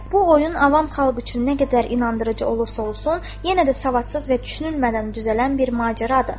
Bu oyun avam xalq üçün nə qədər inandırıcı olursa olsun, yenə də savadsız və düşünülmədən düzələn bir macəradır.